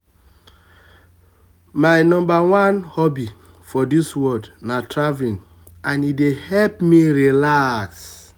my um number one hobby for dis world na traveling and e dey help me relax